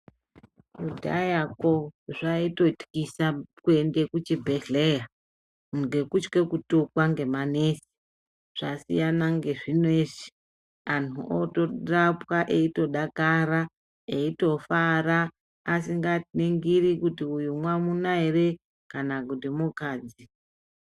Kudyaya ko zvaitotyisa kuenda kuzvibhedhlera ngekutya kutukwa ngema nesi zvasiyana ngezvineizvi antu avekurapwa eyitodakara eyifara asinga ningiri kuti uyu mwsmuna here kana kuti mukadzi.